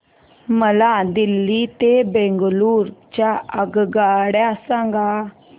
मला दिल्ली ते बंगळूरू च्या आगगाडया सांगा